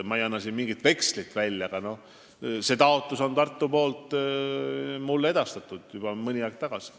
Ma ei anna siin mingit vekslit välja, aga selle taotluse on Tartu mulle edastanud juba mõni aeg tagasi.